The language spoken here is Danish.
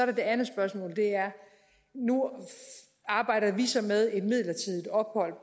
det andet spørgsmål nu arbejder vi så med et midlertidigt ophold